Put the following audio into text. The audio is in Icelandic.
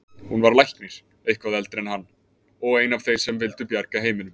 Hún var læknir, eitthvað eldri en hann, og ein af þeim sem vildu bjarga heiminum.